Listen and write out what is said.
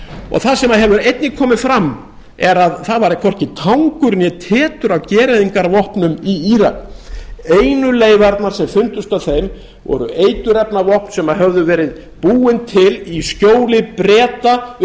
og það sem hefur einnig komið fram er að það var hvorki tangur né tetur af gereyðingarvopnum í írak einu leifarnar sem fundust í þeim voru eiturefnavopn sem höfðu verið búin til í skjóli breta upp